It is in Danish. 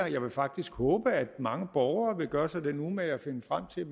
jeg vil faktisk håbe at mange borgere vil gøre sig den umage at finde frem til